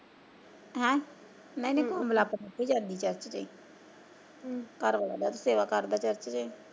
ਹੈਂ ਨਹੀਂ ਨਹੀਂ ਕੋਮਲ ਆਪਣੀ ਜਾਂਦੀ ਚਰਚ ਤੇ ਘਰਵਾਲਾ ਉਹਦਾ ਸੇਵਾ ਕਰਦਾ ਚਰਚ ਤੇ।